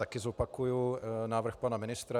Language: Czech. Také zopakuji návrh pana ministra.